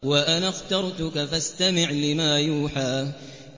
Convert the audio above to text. وَأَنَا اخْتَرْتُكَ فَاسْتَمِعْ لِمَا يُوحَىٰ